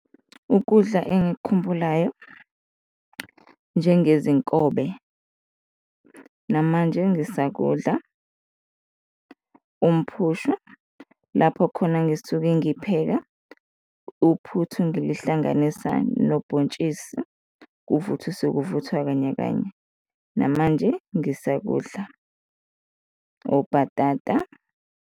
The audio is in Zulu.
Ukudla engikukhumbulayo njengezinkobe namanje engisakudla umphushwa, lapho khona ngisuke ngipheka uphuthu ngilihlanganisa nobhontshisi, kuvuthiswe, kuvuthwa kanye kanye, namanje ngisakudla, obhatata.